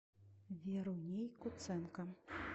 веруней куценко